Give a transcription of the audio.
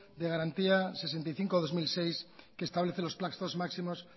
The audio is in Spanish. de garantía sesenta y cinco barra dos mil seis que establece los plazos máximos